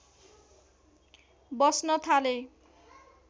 बस्न थाले